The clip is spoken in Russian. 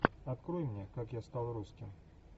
открой мне как я стал русским